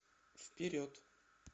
вперед